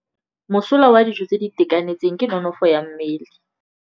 Mosola wa dijô tse di itekanetseng ke nonôfô ya mmele.